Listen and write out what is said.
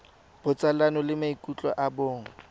botsalano le maikutlo a bong